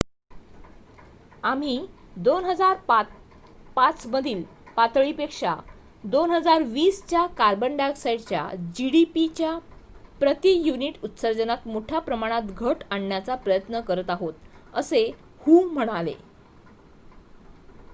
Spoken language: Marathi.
"""आम्ही २००५ मधील पातळीपेक्षा २०२० च्या कार्बन डायऑक्साइडच्या gdp च्या प्रति युनिट उत्सर्जनात मोठ्या प्रमाणात घट आणण्याचा प्रयत्न करत आहोत," असे हु म्हणाले.